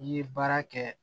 N'i ye baara kɛ